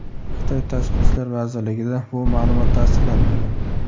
Xitoy Tashqi ishlar vazirligida bu ma’lumot tasdiqlanmagan.